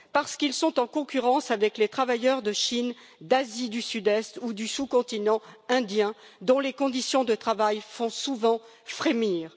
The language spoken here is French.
Parce qu'ils sont en concurrence avec les travailleurs de Chine, d'Asie du Sud Est ou du sous continent indien dont les conditions de travail font souvent frémir.